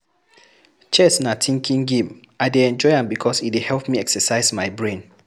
Chess na thinking game, I dey enjoy am because e dey help me exercise my brain